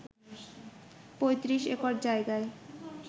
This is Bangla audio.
৩৫ একর জায়গায়